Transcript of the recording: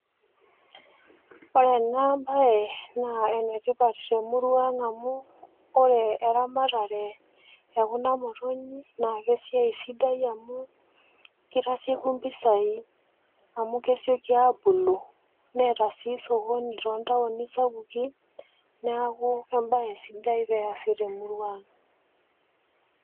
Orena baye naa enetipat temuruang' amu ore eramatare e kuna motonyi naake esiai sidai amu keitasieku  mpisai amu kesioki aabulu neeta siii sokoni toontauni sapuki neaku embaye sidai peeasi temuruang'.